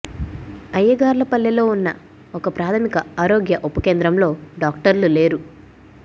అయ్యగార్లపల్లెలో ఉన్న ఒక ప్రాథమిక ఆరోగ్య ఉప కేంద్రంలో డాక్టర్లు లేరు